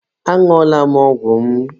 Añụọla m ọgwụ m.